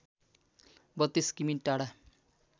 ३२ किमि टाढा